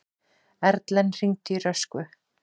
Erlen, hringdu í Röskvu.